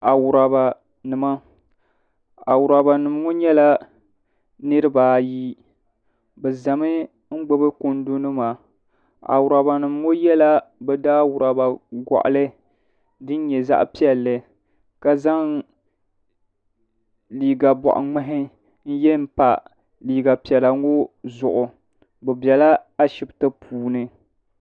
Awurabanima. Awurabanima ŋo nyela niriba ayi. Bɛ zami n gbubi kundunima. Awurabanima ŋo yela bɛ daa Awuraba goɣili din nye zaɣi piɛlli kan zaŋ liiga bɔɣi ŋmahi n zaŋ n ye m pa liiga piɛla ŋɔ zuɣu. Bɛ bɛla Ashipti puuni.